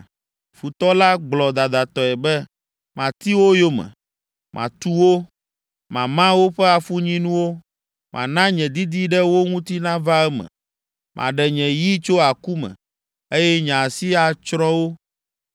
Futɔ la gblɔ dadatɔe be, ‘Mati wo yome, matu wo, mama woƒe afunyinuwo. Mana nye didi ɖe wo ŋuti nava eme. Maɖe nye yi tso aku me, eye nye asi atsrɔ̃ wo.’